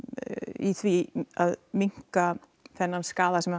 í því að minnka þennan skaða sem